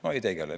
No ei tegele.